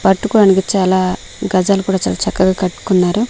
పట్టుకోనికి చాలా గజాలు కూడా చాలా చక్కగా కట్టుకున్నారు.